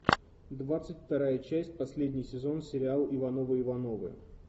двадцать вторая часть последний сезон сериала ивановы ивановы